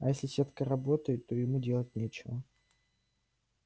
а если сетка работает то ему делать нечего